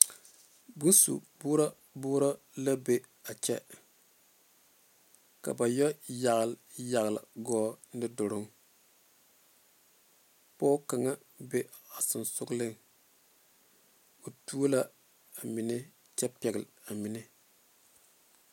Boŋ su borɔ borɔ la be a kyɛ ka ba yɛlɛ yalyaligɔl nuu doloŋ pɔge kaŋ be a seŋe soŋeŋ o tuo la amine kyɛ pɛle amine.